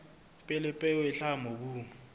pele peo e hlaha mobung